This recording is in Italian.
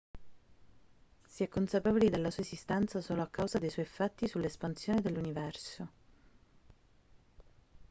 si è consapevoli della sua esistenza solo a causa dei suoi effetti sull'espansione dell'universo